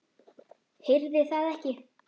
Heyrði það ekki.